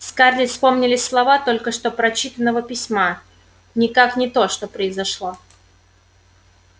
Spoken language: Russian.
скарлетт вспомнились слова только что прочитанного письма никак не то что произошло